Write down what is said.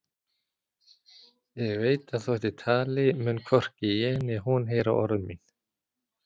Ég veit að þótt ég tali mun hvorki ég né hún heyra orð mín.